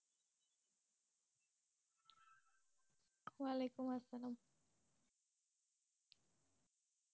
ওয়ালাইকুমসালাম।